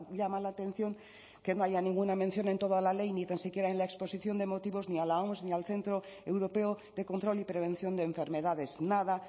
llama la atención que no haya ninguna mención en toda la ley ni tan siquiera en la exposición de motivos ni a la oms ni al centro europeo de control y prevención de enfermedades nada